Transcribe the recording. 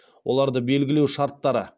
оларды белгілеу шарттары